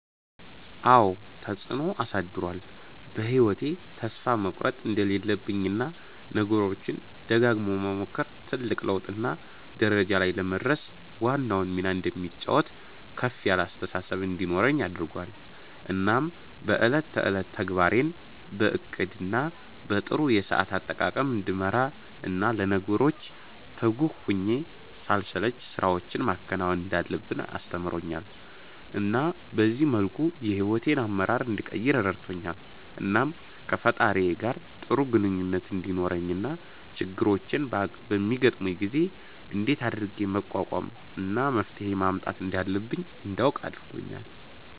አዎ ተፀአኖ አሳድሮአል በ ህይዎቴ ተስፋ መቁረት እንደሌለብኝ እና ነገሮችን ደጋግሞ መሞከር ትልቅ ለውጥ እና ደረጃ ላይ ለመድረስ ዋናውን ሚና እንደሚጫወት ከፍ ያለ አስተሳሰብ እንዲኖረኝ አድርጎአል እናም በ እለት ተእለት ተግባሬን በ እቅድ እና በ ጥሩ የሰአት አጠቃቀም እንድመራ እና ለነገሮች ትጉህ ሁኘ ሳልሰለች ስራወችን ማከናወን እንዳለብኝ አስተምሮኛል እና በዚህ መልኩ የ ሂዎቴን አመራር እንድቀይር ረድቶኛል። እናም ከ ፈጣሪየ ጋር ጥሩ ግኝኙነት እንዲኖረኝ እና ችግሮች በሚያጋጥሙኝ ጊዜ እንደት አድርጌ መቋቋም እና መፍትሄ ማምጣት እንዳለብኝ እንዳውቅ አርጎኛል